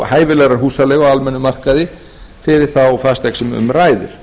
hæfilegrar húsaleigu á almennum markaði fyrir þá fasteign sem um ræðir